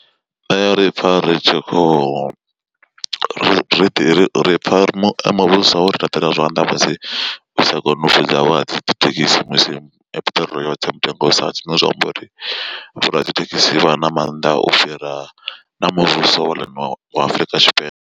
Ṋe ri pfa ri tshi khou ri ri pfa ri muvhuso wori laṱela zwanḓa musi u sa koni u fhedza wa dzithekisi musi piṱirolo yotsa mutengo usa tsi zwine zwa amba uri vho radzithekhisi vha na mannḓa u fhira na muvhuso wa ḽino afrika tshipembe.